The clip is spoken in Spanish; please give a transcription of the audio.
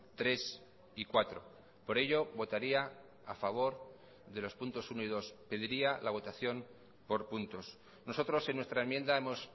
tres y cuatro por ello votaría a favor de los puntos uno y dos pediría la votación por puntos nosotros en nuestra enmienda hemos